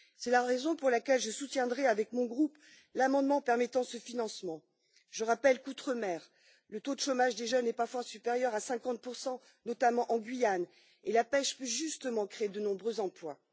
C'est la raison pour laquelle je soutiendrai avec mon groupe, l'amendement permettant ce financement. Je rappelle que, outre mer, le taux de chômage des jeunes est parfois supérieur à 50 notamment en Guyane, et la pêche peut justement créer de nombreux emplois.